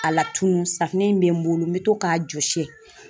A latunun. Safunɛ in bɛ n bolo n be to k'a jɔsi.